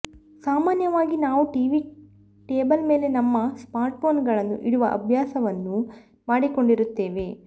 ಸಾಮಾನ್ಯವಾಗಿ ನಾವು TV table ಮೇಲೆ ನಮ್ಮ ಸ್ಮಾರ್ಟ್ಫೋನ್ಗಳನ್ನು ಇಡುವ ಅಭ್ಯಸವನ್ನು ಮಾಡಿಕೊಂಡಿರುತ್ತೇವೆ